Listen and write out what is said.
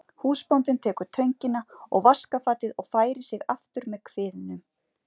Húsbóndinn tekur töngina og vaskafatið og færir sig aftur með kviðnum.